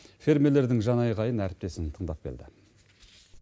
фермерлердің жан айқайын әріптесім тыңдап келді